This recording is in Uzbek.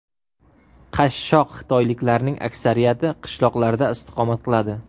Qashshoq xitoyliklarning aksariyati qishloqlarda istiqomat qiladi.